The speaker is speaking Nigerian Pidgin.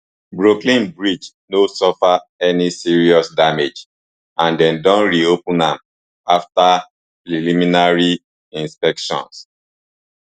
brooklyn bridge no suffer any serious damage and dem don reopen am afta preliminary inspection